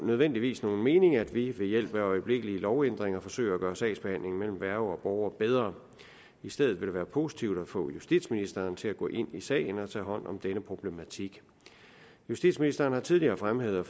nødvendigvis nogen mening at vi ved hjælp af øjeblikkelige lovændringer forsøger at gøre sagsbehandlingen mellem værge og borger bedre i stedet vil det være positivt at få justitsministeren til at gå ind i sagen og tage hånd om denne problematik justitsministeren har tidligere fremhævet